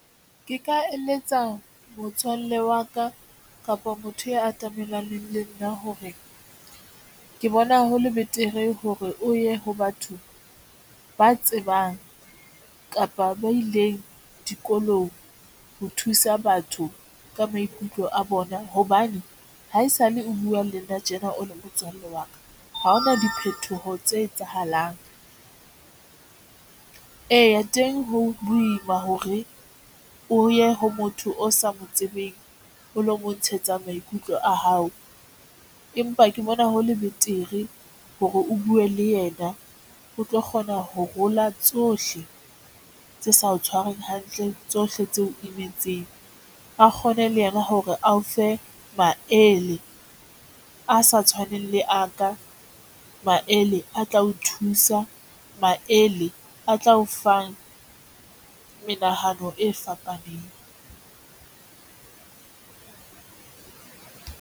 Ke ka eletsa motswalle wa ka kapa motho ya atamelaneng le nna hore ke bona hole betere hore o ye ho batho ba tsebang kapa mme ba ileng dikolong ho thusa batho ka maikutlo a bona hobane haesale o buwa le nna tjena o le motswalle wa ka. Ha hona diphethoho tse etsahalang. Eya, teng ho ima hore o ye ho motho o sa mo tsebeng, o lo mo ntshetsa maikutlo a hao, empa ke bona hole betere hore o bue. Le yena O tlo kgona ho rola tsohle tse sa tshwarweng hantle tsohle tseo emetseng a kgone le yena hore a o fe maele a sa tshwaneng le a ka le a tla o thusa maele a tla o fang menahano e fapaneng.